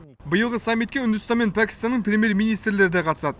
биылғы саммитке үндістан мен пәкістанның премьер министрлері де қатысады